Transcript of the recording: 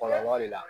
Kɔlɔlɔ de la